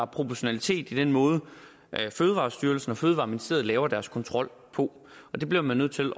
proportionalitet i den måde fødevarestyrelsen og fødevareministeriet laver deres kontrol på det bliver man nødt til